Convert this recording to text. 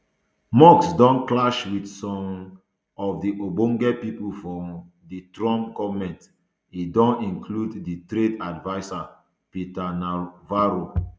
musk don clash wit some um of ogbonge pipo for um di trump goment e don include di trade advisor peter navarro